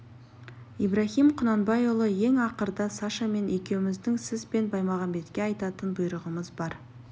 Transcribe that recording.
ибраһим құнанбайұлы ең ақырда сашамен екеуміздің сіз бен баймағамбетке айтатын бұйрығымыз бар